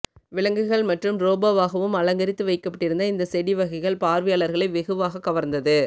விலங்குகள் மற்றும் ரோபோவாகவும் அலங்கரித்து வைக்கப்பட்டிருந்த இந்த செடிவகைகள் பார்வையாளர்களை வெகுவாக கவர்ந்தது